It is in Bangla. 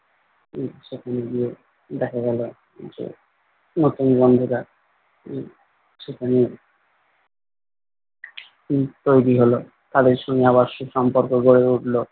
উম সেখানে গিয়ে দেখা গেলো যে নতুন বন্ধুরা উহ সেখানে উহ তৈরী হলো তাদের সঙ্গে আবার সুসম্পর্ক গড়ে উঠলো